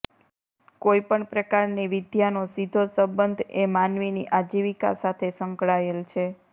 કોઈપણ પ્રકારની વિદ્યાનો સીધો સંબંધ એ માનવીની આજીવિકા સાથે સંકળાયેલ છે